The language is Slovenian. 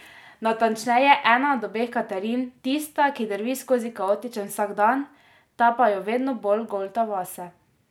Natančneje, ena od obeh Katarin, tista, ki drvi skozi kaotičen vsakdan, ta pa jo vedno bolj golta vase.